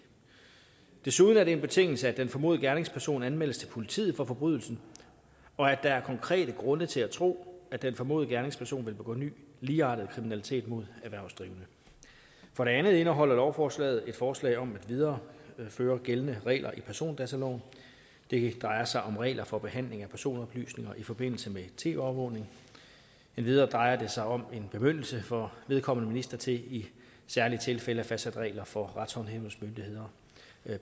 desuden er det en betingelse at den formodede gerningsperson anmeldes til politiet for forbrydelsen og at der er konkrete grunde til at tro at den formodede gerningsperson vil begå ny ligeartet kriminalitet mod erhvervsdrivende for det andet indeholder lovforslaget et forslag om at videreføre gældende regler i persondataloven det drejer sig om regler for behandling af personoplysninger i forbindelse med tv overvågning endvidere drejer det sig om en bemyndigelse for vedkommende minister til i særlige tilfælde at fastsætte regler for retshåndhævelsesmyndigheders